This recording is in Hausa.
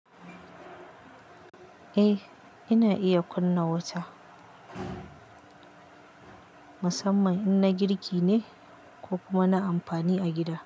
Eh, ina iya kunna wuta musamman in na girki ne ko kuma na amfani a gida.